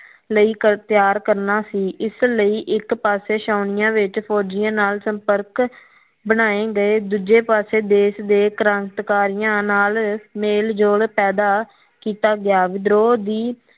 ਲਈ ਤਿਆਰ ਕਰਨਾ ਸੀ ਇਸ ਲਈ ਇਕ ਪਾਸੇ ਛੋਣਿਆ ਵਿੱਚ ਫੋਜਿਆਂ ਨਾਲ ਸਪੰਰਕ ਬਣਾਏ ਗਏ ਦੂਜੇ ਪਾਸੇ ਦੇਸ਼ ਦੇ ਕਰਾਤਕਾਰੀਆਂ ਨਾਲ ਮੇਲ ਜੋਲ ਪੈਦਾ ਕੀਤਾ ਗਿਆ ਵਿਧਰੋ ਦੀ